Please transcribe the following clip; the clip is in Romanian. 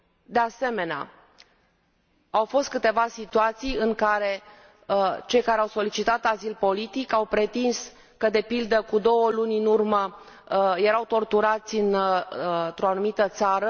De asemenea, au fost câteva situații în care cei care au solicitat azil politic au pretins că, de pildă, cu două luni în urmă erau torturați într o anumită țară